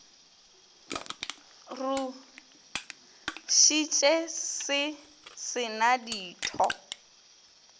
rusitše se se na ditho